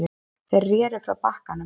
Þeir reru frá bakkanum.